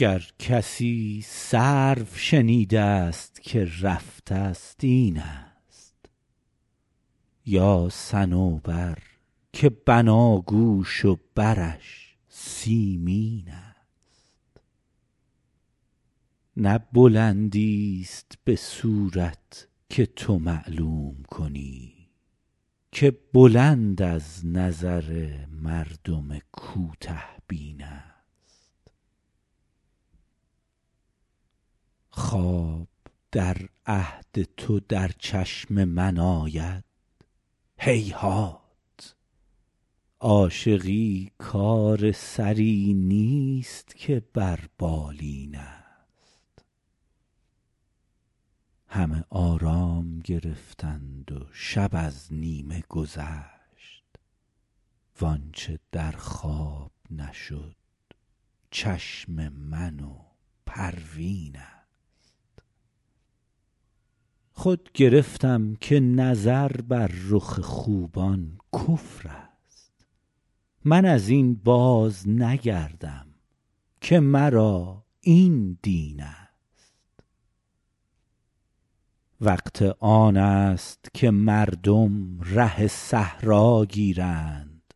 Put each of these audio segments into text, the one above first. گر کسی سرو شنیده ست که رفته ست این است یا صنوبر که بناگوش و برش سیمین است نه بلندیست به صورت که تو معلوم کنی که بلند از نظر مردم کوته بین است خواب در عهد تو در چشم من آید هیهات عاشقی کار سری نیست که بر بالین است همه آرام گرفتند و شب از نیمه گذشت وآنچه در خواب نشد چشم من و پروین است خود گرفتم که نظر بر رخ خوبان کفر است من از این بازنگردم که مرا این دین است وقت آن است که مردم ره صحرا گیرند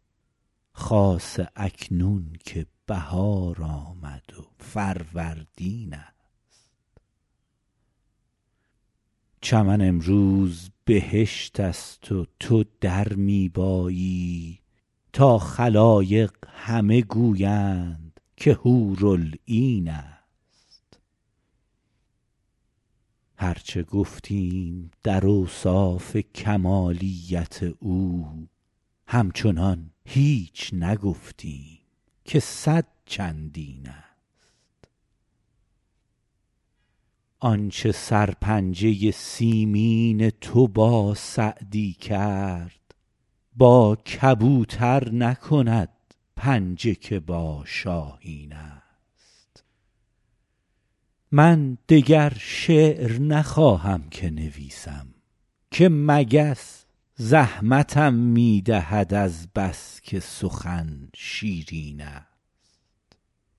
خاصه اکنون که بهار آمد و فروردین است چمن امروز بهشت است و تو در می بایی تا خلایق همه گویند که حورالعین است هر چه گفتیم در اوصاف کمالیت او همچنان هیچ نگفتیم که صد چندین است آنچه سرپنجه سیمین تو با سعدی کرد با کبوتر نکند پنجه که با شاهین است من دگر شعر نخواهم که نویسم که مگس زحمتم می دهد از بس که سخن شیرین است